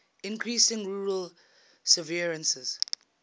increasing rural severances